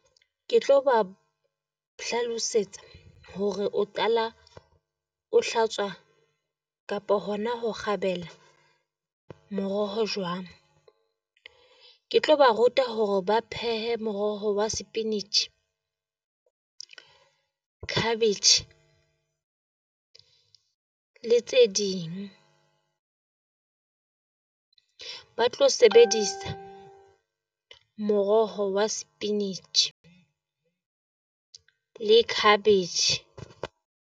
Ke tlo ba hlalosetsa hore o qala o hlatswa kapa hona ho gabela moroho jwang. Ke tlo ba ruta hore ba phehe moroho wa cabbage le tse ding, ba tlo sebedisa moroho wa le cabbage.